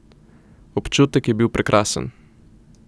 Občutek je bil prekrasen.